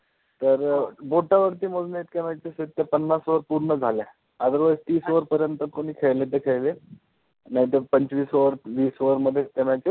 तर बोटावरती मोजण्या इतक्या matches आहेत की पन्नास over पूर्ण झाल्या. Otherwise तीस over पर्यंत कोणी खेळले तर खेळले नाहीतर पंचवीस over वीस over मध्येच त्या matches